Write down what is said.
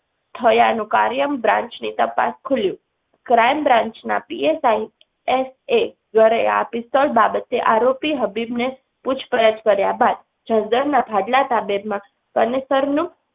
થયાનું કાર્યમ branch ની તપાસ ખૂલ્ય crime branch ના PSI એસ. એ ઘરે આ પિસ્તોલ બાબતે આરોપી હબીબને પૂછપરછ કર્યા બાદ જનદનના ભાડલા સામે માં પરનેતરનું